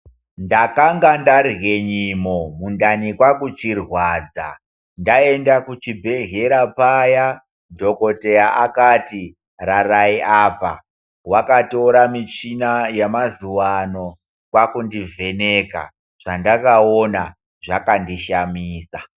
Ndakange ndarye nyimo mundani kwakuchirwadza, ndaenda kuchibhedhlera paya, dhogodheya akati rarai apa . Wakatora michina yamazuvano, kwakundivheneka, zvandakaona zvakandishamisa.